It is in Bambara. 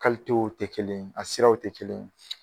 w te kelen a siraw te kelen